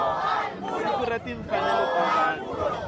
siku ra timfanelo ta vanhu